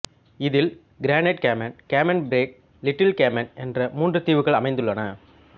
இதில் Grand Cayman Cayman Brac Little Cayman என்ற மூன்றுத் தீவுகள் அமைந்துள்ளன